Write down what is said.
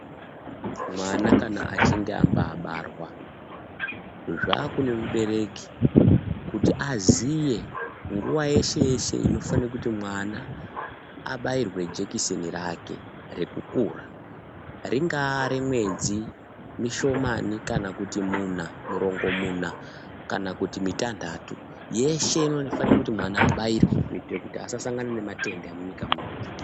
Mwana kana achinge abaa abarwa, zvaakude mubereki kuti aziye nguwa yeshe yeshe inofana kuti mwana abairwe jekiseni rake rekukura, ringaa remwedzi mishomani kana kuti muna, murongomuna kana kuti mitanhatu yeshe inoda kuti mwana abairwe kuite kuti asasangana nema tenda munyika munomu.